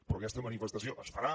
però aquesta manifestació es farà